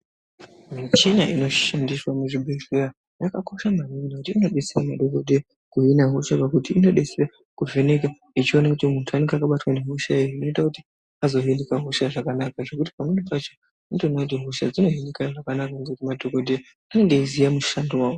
Michina inoshandiswa muzvibhedhleya yakakosha maningi ngekuti inobetsera madhogodheya kuhina hosha pakuti inobetsera kuvheneka ichiona kuti muntu unenge akabatwa ngehosha ere. Zvinoita kuti azohinika hosha zvakanaka zvekuti pamweni pacho unotoona kuti hosha dzinohinika zvakanaka ngemadhogodheya anenge eiziya mushando vavo.